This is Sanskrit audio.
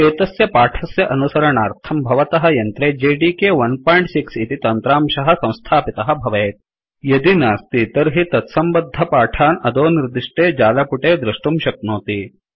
एतस्य पाठस्य अनुसरणार्थं भवतः यन्त्रे जेडीके 16 इति तन्त्रांशः संस्थापितः भवेत् यदि नास्ति तर्हि तत्सम्बद्धपाठान् अधो निर्दिष्टे जालपुटे दृष्टुं शक्नोति